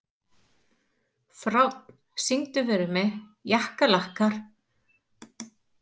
Fránn, syngdu fyrir mig „Jakkalakkar“.